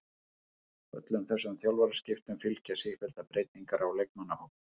Öllum þessum þjálfaraskiptum fylgja sífelldar breytingar á leikmannahópnum.